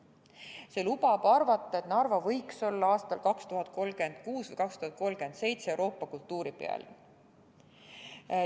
See lubab arvata, et Narva võiks olla aastal 2036 või 2037 Euroopa kultuuripealinn.